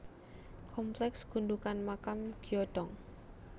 Kompleks Gundukan Makam Gyodong